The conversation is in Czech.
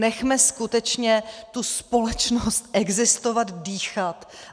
Nechme skutečně tu společnost existovat, dýchat.